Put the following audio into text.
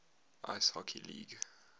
ice hockey league